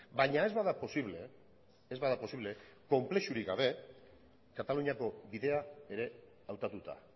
baina ez bada posible ez bada posible konplexurik gabe kataluniako bidea ere hautatuta